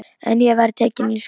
En ég var tekin í skólann.